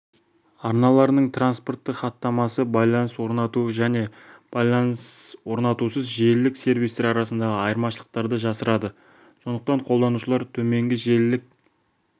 арналарының транспорттық хаттамасы байланыс орнату және байланыс орнатусыз желілік сервистер арасындағы айырмашылықтарды жасырады сондықтан қолданушылар төменгі желілік